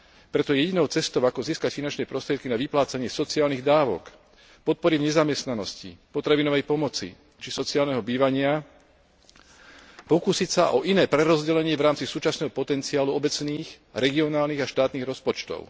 Preto jedinou cestou, ako získať finančné prostriedky na vyplácanie sociálnych dávok, podpory v nezamestnanosti, potravinovej pomoci či sociálneho bývania, je pokúsiť sa o iné prerozdelenie v rámci súčasného potenciálu obecných, regionálnych a štátnych rozpočtov.